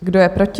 Kdo je proti?